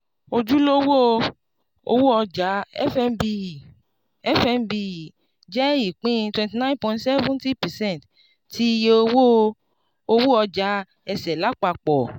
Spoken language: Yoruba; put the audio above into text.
ojulowó-òwò ọjà fnbe fnbe jẹ́ ipin twenty nine point seven zero percent ti iye owó-òwò ọjà ese lapapọ.